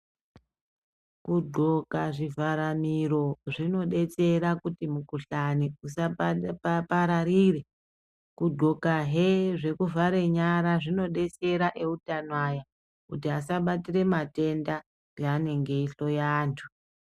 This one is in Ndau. Kudxoka zvivharamiro zvinodetsera kuti mukuhlani usapararire. Kudxokahe zvekuvhare nyara zvinodetsera eutano aya kuti asabatire matenda peanenge eihloya antu.